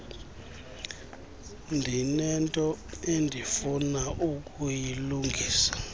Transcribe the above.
ndinento endifuna ukuyilungisa